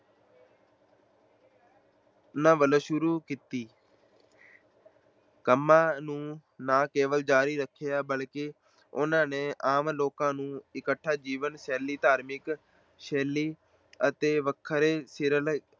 ਉਹਨਾਂ ਵੱਲੋਂ ਸ਼ੁਰੂ ਕੀਤੀ ਕੰਮਾਂ ਨੂੰ ਨਾ ਕੇਵਲ ਜਾਰੀ ਰੱਖਿਆ ਬਲਕਿ ਉਹਨਾਂ ਨੇ ਆਮ ਲੋਕਾਂ ਨੂੰ ਇੱਕਠਾ ਜੀਵਨ-ਸ਼ੈਲੀ, ਧਾਰਮਿਕ ਸ਼ੈਲੀ ਅਤੇ ਵੱਖਰੇ ਸਰਲ